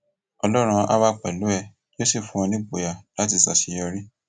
ọlọrun áà wà pẹlú ẹ yóò sì fún ọ nígboyà láti ṣàṣeyọrí